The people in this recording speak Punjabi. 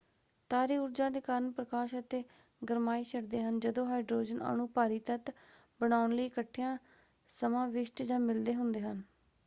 ਤਾਰੇ ਊਰਜਾ ਦੇ ਕਾਰਨ ਪ੍ਰਕਾਸ਼ ਅਤੇ ਗਰਮਾਇਸ਼ ਛੱਡਦੇ ਹਨ ਜਦੋ ਹਾਇਡਰੋਜਨ ਅਣੂ ਭਾਰੀ ਤੱਤ ਬਣਾਉਣ ਲਈ ਇਕੱਠਿਆਂ ਸਮਾਵਿਸ਼ਟ ਜਾਂ ਮਿਲਦੇ ਹੁੰਦੇ ਹਨ।